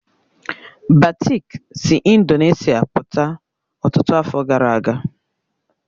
Batik si Indonesia pụta ọtụtụ afọ gara aga